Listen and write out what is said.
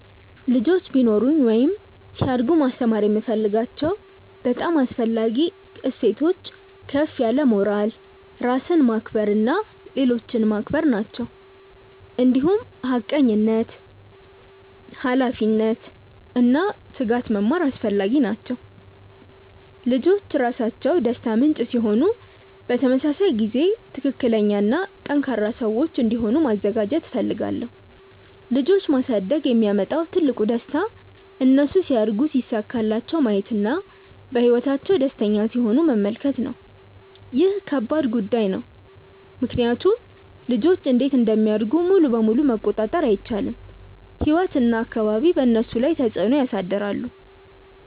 ልጆች ቢኖሩኝ ወይም ሲያድጉ ማስተማር የምፈልጋቸው በጣም አስፈላጊ እሴቶች ከፍ ያለ ሞራል፣ ራስን ማክበር እና ሌሎችን ማክበር ናቸው። እንዲሁም ሐቀኝነት፣ ኃላፊነት እና ትጋት መማር አስፈላጊ ነው። ልጆች ራሳቸው ደስታ ምንጭ ሲሆኑ በተመሳሳይ ጊዜ ትክክለኛ እና ጠንካራ ሰዎች እንዲሆኑ ማዘጋጀት እፈልጋለሁ። ልጆች ማሳደግ የሚያመጣው ትልቁ ደስታ እነሱ ሲያድጉ ሲሳካላቸው ማየት እና በህይወታቸው ደስተኛ ሲሆኑ መመልከት ነው። ይህ ከባድ ጉዳይም ነው ምክንያቱም ልጆች እንዴት እንደሚያድጉ ሙሉ በሙሉ መቆጣጠር አይቻልም፤ ህይወት እና አካባቢ በእነሱ ላይ ተፅዕኖ ያሳድራሉ።